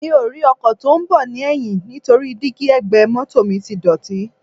Mi ò rí ọkọ̀ tí ó ń bọ̀ ní ẹ̀yìn nítorí díígí ẹ̀gbẹ́ mọ́tọ̀ mi dọ̀tí.